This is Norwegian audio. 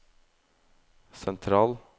sentral